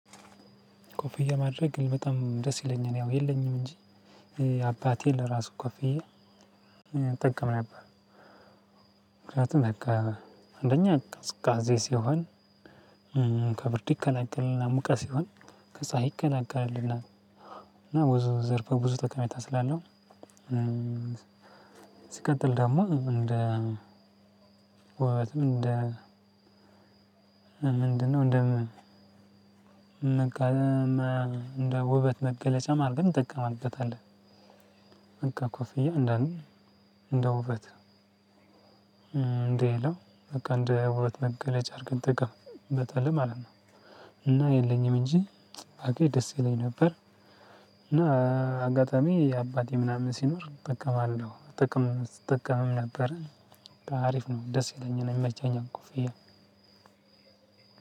ኮፍያ ማድረግ እኔ በጣም ደስ ይለኛል ያው የለኝም እንጂ አባቴን ለራሱ ኮፍያ እጠቀም ነበር። ምክንያቱም በቃ አንደኛ ቅዝቃዜ ሲሆን ከብርድ ይከላከልልናል ሙቀት ሲሆን ከፀሀይ ይከላከልልናል። እና ብዙ ዘርፈ ብዙ ጠቀሜታ ስላለው ሲቀጥል ደግሞ እንደ ውበትም እንደ ምንድነው? እንደምን ውበት መገለጫም አርገን እንጠቀምበታለን። በቃ ኮፍያ እንደ እንደ ውበት እንደ የላው በቃ እንደ ውበት መገለጫ አርገን እንጠቀምበታለን ማለት ነው። እና የለኝም እንጂ ባገኝ ደስ ይለኝ ነበር። እና አጋጣሚ የአባቴ ምናምን ሲኖር እጠቀማለው ጥቅም ስትጠቀምም ነበረ። አሪፍ ነው ደስ ይለኛል ይመቸኛል ኮፍያ